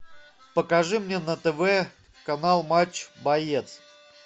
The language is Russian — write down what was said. покажи мне на тв канал матч боец